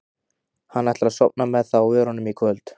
Hann ætlar að sofna með það á vörunum í kvöld.